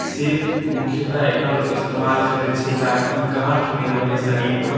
से मुख्यतः एकर इस्तेमाल करे छै ताकि गांठ नए बने शरीर मा।